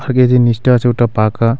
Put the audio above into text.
আগে যে নীচটা আছে ওটা পাকা।